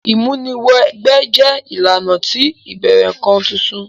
Ìmúni wẹ gbẹ́ jẹ ìlànà ti ìbẹ̀rẹ̀ nkan titun.